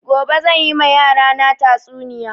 Gobe zan yi ma yara na tatsuniya